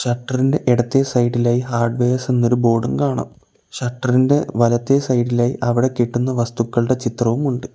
Shutter ഇൻ്റെ ഇടത്തെ സൈഡിലായി ഹാർഡ് വെയേഴ്സ് എന്നൊരു ബോർഡും കാണാം ഷട്ടർന്റെ വലത്തെ സൈഡിലായി അവടെ കിട്ടുന്ന വസ്തുക്കൾടെ ചിത്രവും ഉണ്ട്.